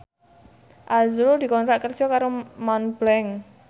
azrul dikontrak kerja karo Montblanc